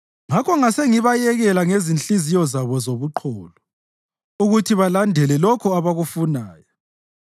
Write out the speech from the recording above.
Ngakho ngasengibayekela ngezinhliziyo zabo zobuqholo ukuthi balandele lokho abakufunayo.